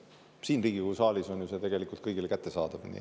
Siin Riigikogu saalis on see ju tegelikult kõigile kättesaadav.